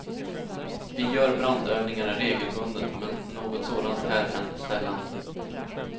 Vi gör brandövningar regelbundet, men något sådant här händer sällan.